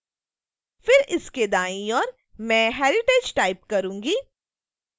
फिर इसके दाईं ओर मैं heritage टाइप करूंगी